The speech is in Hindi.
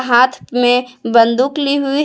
हाथ में बंदूक ली हुई है।